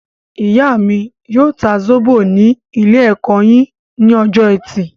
Ìyá mí yóò ta zóbò ní ilé-ẹ̀kọ́ yín ní ọjọ ẹtì